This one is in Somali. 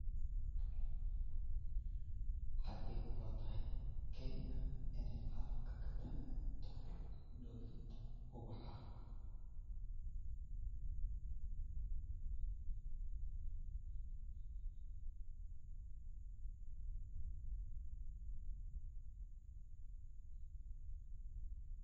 Xagee kulatahay kenya ineey caalamka kataagantahay dhoofinta ubaxa